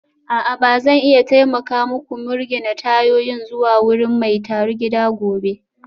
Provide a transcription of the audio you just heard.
A'a ba zan iya taimaka muku mirgine tayoyin zuwa wurin mai tarugida gobe